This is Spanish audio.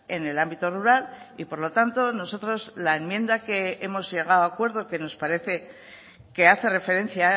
en el ámbito rural y por lo tanto nosotros la enmienda que hemos llegado a acuerdo que nos parece que hace referencia